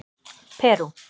Perú